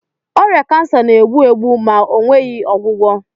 Ọrịa kansa na-egbu egbu ma ọ nweghị ọgwụgwọ